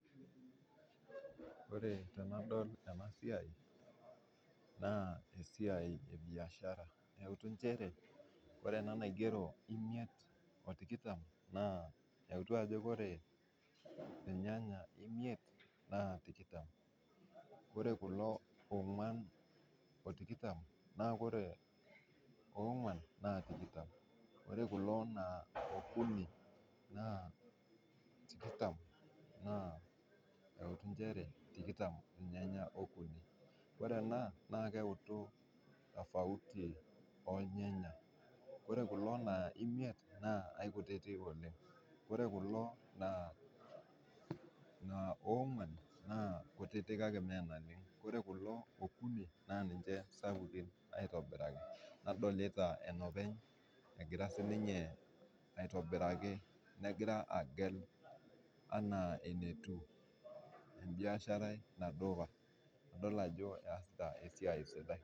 Ore tenadol ena siai naa esiai ebiashara neitu nchere ore ena naigero imiet otikitam naa eitu ajo ore irnyanya imeit naa tikitam ,ore ena eogwan otikitam naa ore ogwan na tikitam, ore ena euni otikitam naa eitu nchere ore okuni naa tikitam. ore ena naa keutu tofauti ornyanya ,ore kulo imiet naa eikutitik oleng. ore kulo ogwan kutitik kake mee naleng, ore kulo okuni naa ninche sapukin aitobiraki. nadolita enopeny egira siininye aitobitraki negira agelenaa enetiu biashara ina duka, idol esiai sidai.